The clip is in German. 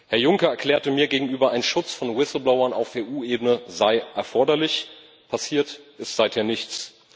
Herr Juncker erklärte mir gegenüber, ein Schutz von Whistleblowern auf EU Ebene sei erforderlich. Passiert ist seither nichts.